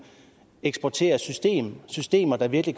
eksportere systemer systemer der virkelig